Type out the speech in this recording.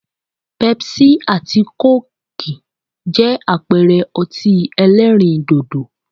Pepsi àti coke jẹ́ àpẹẹrẹ ọtí ẹlẹ́rìndòdò